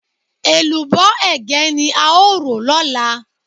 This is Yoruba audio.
Èlùbọ́ Ẹ̀gẹ́ ni a ó rò lọ́la.